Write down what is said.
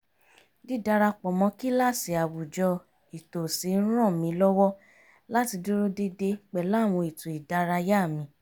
dídarapọ̀ mọ́ kíláàsì àwùjọ ìtòsí ń ràn mí lọ́wọ́ láti dúró dédé pẹ̀lú àwọn ètò ìdárayá mi